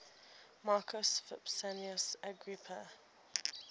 marcus vipsanius agrippa